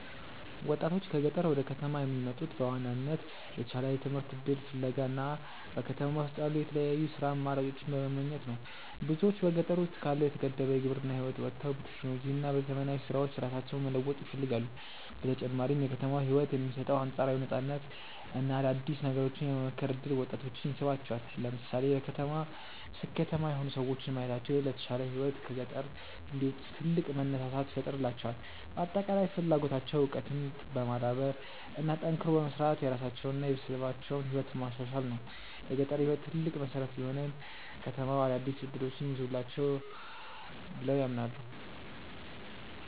ወጣቶች ከገጠር ወደ ከተማ የሚመጡት በዋናነት የተሻለ የትምህርት እድል ፍለጋ እና በከተማ ውስጥ ያሉ የተለያዩ የሥራ አማራጮችን በመመኘት ነው። ብዙዎች በገጠር ውስጥ ካለው የተገደበ የግብርና ህይወት ወጥተው በቴክኖሎጂ እና በዘመናዊ ስራዎች ራሳቸውን መለወጥ ይፈልጋሉ። በተጨማሪም የከተማው ህይወት የሚሰጠው አንፃራዊ ነፃነት እና አዳዲስ ነገሮችን የመሞከር እድል ወጣቶችን ይስባቸዋል። ለምሳሌ በከተማ ስኬታማ የሆኑ ሰዎችን ማየታቸው ለተሻለ ህይወት ከገጠር እንዲወጡ ትልቅ መነሳሳት ይፈጥርላቸዋል። በአጠቃላይ ፍላጎታቸው እውቀትን በማዳበር እና ጠንክሮ በመስራት የራሳቸውንና የቤተሰባቸውን ህይወት ማሻሻል ነው። የገጠር ህይወት ትልቅ መሰረት ቢሆንም፣ ከተማው አዳዲስ እድሎችን ይዞላቸዋል ብለው ያምናሉ።